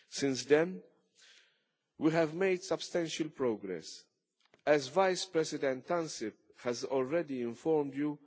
Since then we have made substantial progress. As Vice President Ansip has already informed you,